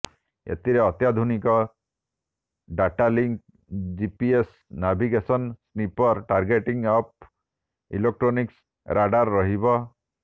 ଏଥିରେ ଅତ୍ୟାଧୁନିକ datalink GPS navigation sniper targeting pod electronics radar ରହିବ